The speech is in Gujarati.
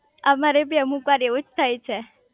અમારે બી અમુકવાર એવુજ થાય છે